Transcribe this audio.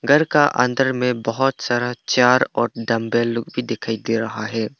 घर का अंदर में बहोत सारा चार और डम्बल लोग भी दिखाई दे रहा है।